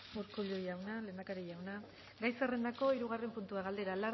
urkullu jauna lehendakari jauna gai zerrendakoa hirugarren puntua galdera